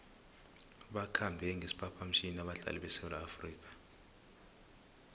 bakhambe ngesiphaphamtjhini abadlali besewula afrika